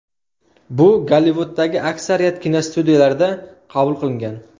Bu Gollivuddagi aksariyat kinostudiyalarda qabul qilingan.